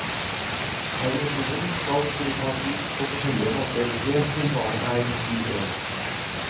Permisjonen skal kunne tas ut på forskjellige måter helt til barnet er ti år.